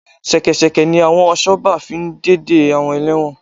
Ṣẹkẹ́ṣẹkẹ̀ ni àwọn asọ́gbà fi ń de de àwọn ẹlẹ́wọ̀n